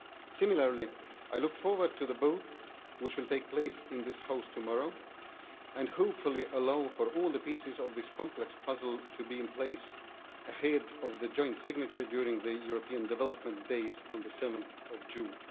Similarly, I look forward to the vote which will take place in this House tomorrow, and hopefully allow for all the pieces of this complex puzzle to be in place ahead of the joint signature during the European Development Days on 7 June.